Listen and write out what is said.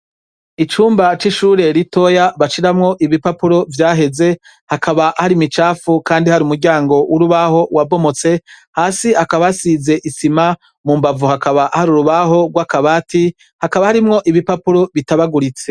Icumba c' ishure ritoya bashiramwo ibipapuro vyagenze, hakaba hari imicafu kandi hari umuryango wabomotse, hasi hakaba hasize isima, mu mbavu hakaba hari urubaho rw' akabati, hakaba harimwo ibipapuro bitabaguritse.